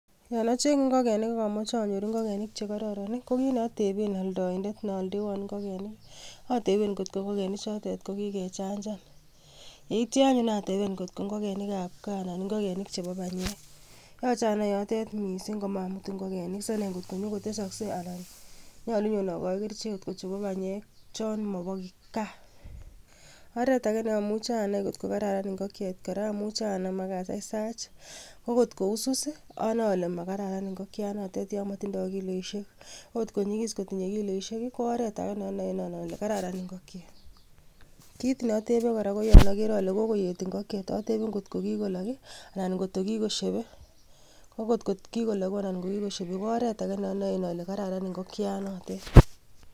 Yon acgengee ingogenik ak amoche anyoor ingogenik chekororon, ko kit neoyoe ateben neoldewoon ingigenik, ateben angot ko ingogenik chotet ko kikechanchan, yeityoo anyun ateben angot ko ingogenik ab gaa anan ko ingogenik chebo benyeek. Yoche anai yotet missing komamuutu ingogenik si anai ngot konyoon kotesoksei anan nyolu anyan okochi kerichek ichek chebo banyeek c kosiir chepo gaa. Oretage neomuche anai angot koraran ingokyet kora amuche anaam ak asaisach, ko kot ko kousus anoe ale makararan ingokyaan notet yon motindoo kiloisiek, ko kotkonyogis kotinye kiloisiek ko oretage neonoen ale kararan ingokyeet. Kit neotebe kora ko yon agere alee kokoyeet ingokyeet atebe angot ko kikoloogu anan kotogii kikoshebe ,ko kotkokiloogu anan ko kikosheebe ko oretage neonoen ole karararan ingokyaanotet